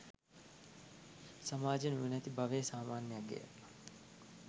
සමාජයේ නුවණැති බවේ සාමාන්‍ය අගය